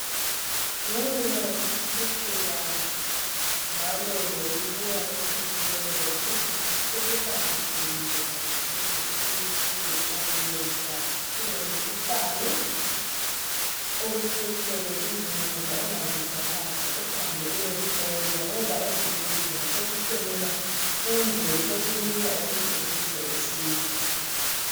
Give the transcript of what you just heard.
Ngenxa yokuphucuka njalo lokubuya kwethekhinoloji sokuqakathekile kakhulu ukuthi ungezwa ulomkhuhlane okuphetheyo kumbe ungezwa ungazizwa kahle uhambe uyehlolwa ngoba ezibhedlela sokuhloleka kumbe sokulula ukuthi uzuze usizo.